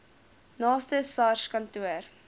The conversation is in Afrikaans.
naaste sars kantoor